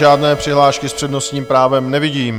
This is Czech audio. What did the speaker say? Žádné přihlášky s přednostním právem nevidím.